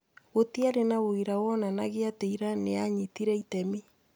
Gũtiarĩ na ũira wonanagia atĩ Iran nĩyanyitire itemi